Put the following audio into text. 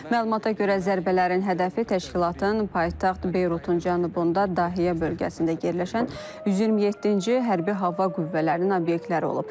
Məlumata görə, zərbələrin hədəfi təşkilatın paytaxt Beyrutun cənubunda Dəhiyə bölgəsində yerləşən 127-ci Hərbi Hava Qüvvələrinin obyektləri olub.